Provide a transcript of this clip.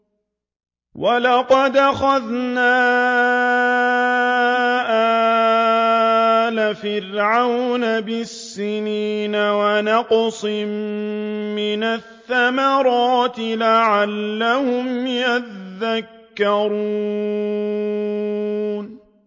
وَلَقَدْ أَخَذْنَا آلَ فِرْعَوْنَ بِالسِّنِينَ وَنَقْصٍ مِّنَ الثَّمَرَاتِ لَعَلَّهُمْ يَذَّكَّرُونَ